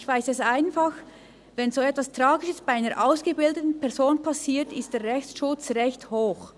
Ich weiss einfach, wenn so etwas Tragisches bei einer ausgebildeten Person passiert, ist der Rechtsschutz recht hoch.